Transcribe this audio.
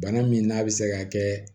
Bana min n'a bɛ se ka kɛ